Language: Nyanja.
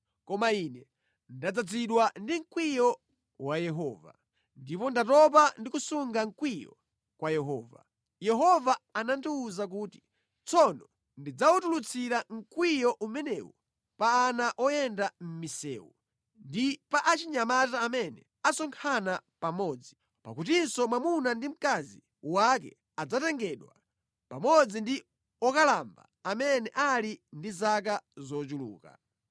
Koma ine ndadzazidwa ndi mkwiyo wa Yehova, ndipo ndatopa ndi kusunga mkwiyo wa Yehova. Yehova anandiwuza kuti, “Tsono ndidzawutulutsira mkwiyo umenewu pa ana oyenda mʼmisewu ndi pa achinyamata amene asonkhana pamodzi; pakutinso mwamuna ndi mkazi wake adzatengedwa, pamodzi ndi okalamba amene ali ndi zaka zochuluka.